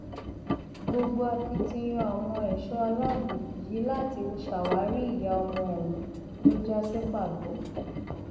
gbogbo akitiyan àwọn ẹṣọ aláàbọ yìí láti ṣàwárí ìyá ọmọ ọhún ló já sí pàbó